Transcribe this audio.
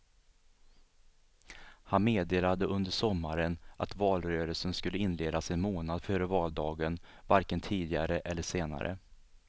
Han meddelade under sommaren att valrörelsen skulle inledas en månad före valdagen, varken tidigare eller senare.